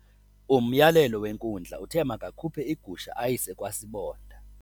Umyalelo wenkundla uthe makakhuphe igusha ayise kwasibonda.